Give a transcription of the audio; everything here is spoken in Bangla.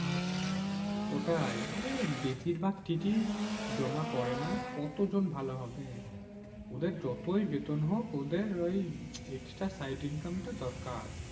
ওটাই আরে বেশিরভাগ TTE জমা করে না। কত জন ভালো হবে? ওদের যতই বেতন হোক ওদের ওই extra side income টা দরকার।